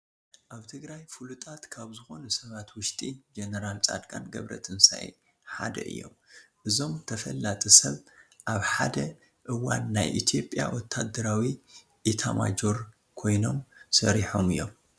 ኣብ ትግራይ ፍሉጣትት ካብ ዝኾኑ ሰባት ውሽጢ ጀነራል ፃድቃን ገብረተንሳይ ሓደ እዮም፡፡ እዞም ተፈላጢ ሰብ ኣብ ሓደ እዋን ናይ ኢትዮጵያ ወታደራዊ ኢታማዦር ኮይኖም ሰሪሖም እዮም፡፡